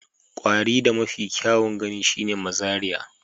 Kwarin da mafi kyawun gani shine mazariya